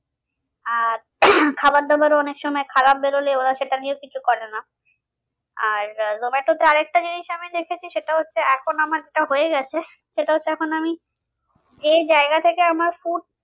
আর খাবার দাবারও অনেক সময় খারাপ বেরোলে ওরা সেটা নিয়েও কিছু করে না। আর জোমাটোতে আর একটা জিনিস আমি দেখেছি সেটা হচ্ছে এখন আমার যা হয়ে গেছে সেটা তো এখন আমি যেই জায়গা থেকে আমার foot